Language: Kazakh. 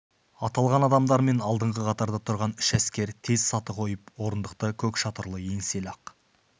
аталған адамдар мен алдыңғы қатарда тұрған үш әскер тез саты қойып орындықты көк шатырлы еңселі ақ